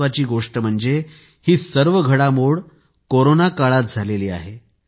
महत्त्वाची गोष्ट म्हणजे ही सर्व घडामोड कोरोना काळात झाली आहे